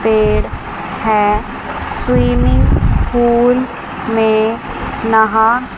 पेड़ है swimming pool में नहा--